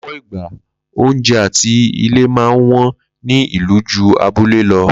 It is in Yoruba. Ló̩pò̩ ìgbà oúnje̩ àti ilé máa ń wó̩n ní ìlú jù abúlé lo̩